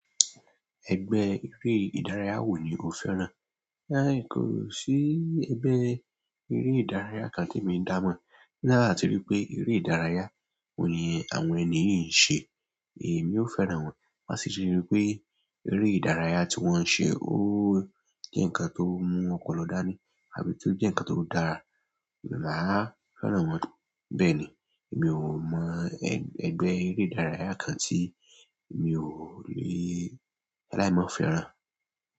Ẹgbẹ́ eré ìdárayá wo ni o fẹ́ràn? Ẹn kò sí ẹgbẹ́ eré ìdárayá kan tí emi da mọ̀. Láti rí pé eré ìdárayá wo ni àwọn ènìyàn ń ṣe, èmi ó fẹ́ràn wọ́n. Má sì rí pé eré ìdárayá tí wọ́n ń ṣe ó jẹ́ ǹkan tó mú ọ̀pọ̀lọpọ̀ dání àbí tó jẹ́ ǹkan tó dára, mo máa fẹ́ràn wọ́n. Bẹ́ẹ̀ ni, mi ò mọ ẹgbẹ́ eré ìdárayá kan tí mi ò lè láímọ̀ fẹ́ràn.